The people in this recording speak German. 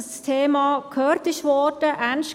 Da geht es jetzt noch um den Kredit.